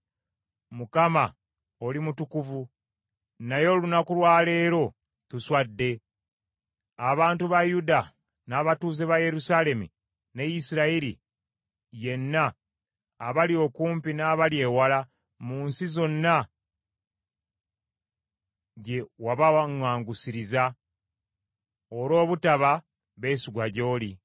“ Mukama oli mutukuvu, naye olunaku lwa leero tuswadde, abantu ba Yuda, n’abatuuze ba Yerusaalemi, ne Isirayiri yenna, abali okumpi n’abali ewala mu nsi zonna gye wabawaŋŋangusiriza olw’obutaba beesigwa gy’oli.